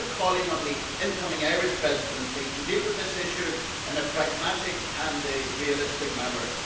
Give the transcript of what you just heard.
We are now calling on the incoming Irish Presidency to deal with this issue in a pragmatic and realistic manner.